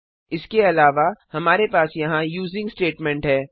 इसके अलावा हमारे पास यहाँ यूजिंग स्टेटमेंट है